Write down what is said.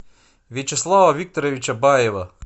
вячеслава викторовича баева